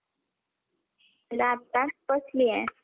आताच बसलीये.